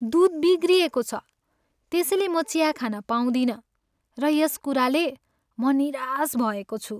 दुध बिग्रिएको छ त्यसैले म चिया खान पाउँदिनँ र यस कुराले म निराश भएको छु।